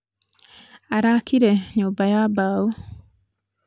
araakire nyũmba ya mbaũ